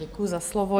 Děkuji za slovo.